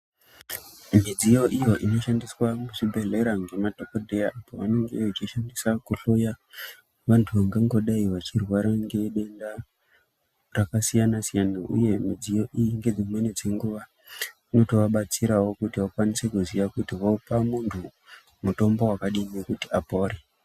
Midziyo iyo inoshandiswa muzvibhedhleya ngemadhokodheya pavanenge vashishandisa kuhloya vantu vangangodai vachirwara ngedenda rakasiyana siyana, uye midziyo iyi dzimeni dzenguva inotovabatsirawo kuti vazive kuti vopa muntu mutombo wakadii kuti apore.